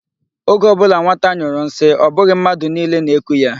Oge ọ bụla nwata nyụrụ nsi, ọ bụghị mmadụ niile na-eku ya.